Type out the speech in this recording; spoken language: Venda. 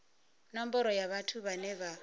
nomboro ya vhathu vhane vha